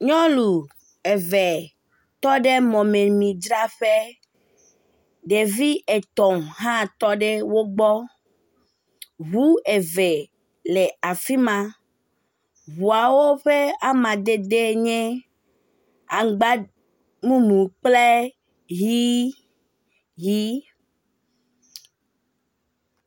Nyɔnu eve tɔ ɖe mɔmemidzraƒe ɖevi etɔ̃ hã tɔ ɖe wo gbɔ, ŋu eve le afi ma, hã tɔ ɖe afi ma, ŋuawo ƒe amadede nye aŋgba mumu kple ʋi, ʋi.